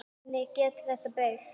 Hvernig getur þetta breyst?